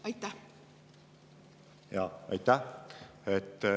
Aitäh!